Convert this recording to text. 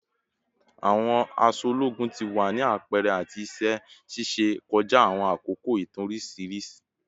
Awọn aṣọ ologun ti wa ni apẹrẹ ati iṣẹ ṣiṣe kọja awọn akoko itan oriṣiriṣi